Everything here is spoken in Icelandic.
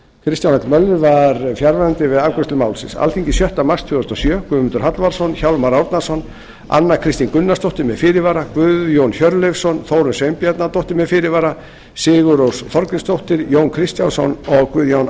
kristján l möller var fjarverandi við afgreiðslu málsins alþingi sjötta mars tvö þúsund og sjö guðmundur hallvarðsson hjálmar árnason anna kristín gunnarsdóttir með fyrirvara guðjón hjörleifsson þórunn sveinbjarnardóttir með fyrirvara sigurrós þorgrímsdóttir jón kristjánsson og guðjón